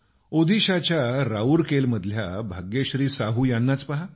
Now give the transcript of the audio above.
ओदीशाच्या राऊरकेला मधल्या भाग्यश्री साहू यांनाच पहा